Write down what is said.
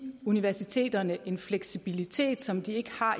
universiteterne en fleksibilitet som de ikke har